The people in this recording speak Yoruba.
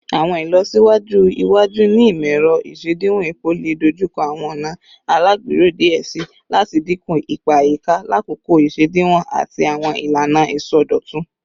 Awọn ilọsiwaju iwaju ni imọ-ẹrọ isediwon epo le dojukọ awọn ọna alagbero diẹ sii lati dinku ipa ayika lakoko isediwon ati awọn ilana isọdọtun